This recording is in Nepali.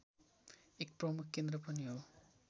एक प्रमुख केन्द्र पनि हो